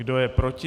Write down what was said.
Kdo je proti?